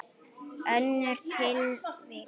Önnur tilvik.